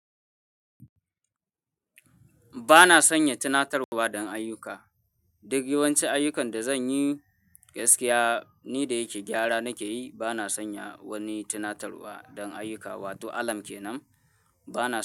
Ba na sanya tinatarwa don ayyuka. Duk yawancin ayyukan da zan yi gaskiya ni da yake gyara nake yi. Ba na sanya wani tinatarwa don ayyuka, wato alam kenan ba na so.